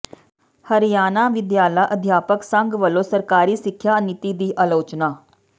ਹਰਿਆਣਾ ਵਿਦਿਆਲਾ ਅਧਿਆਪਕ ਸੰਘ ਵੱਲੋਂ ਸਰਕਾਰੀ ਸਿੱਖਿਆ ਨੀਤੀ ਦੀ ਆਲੋਚਨਾ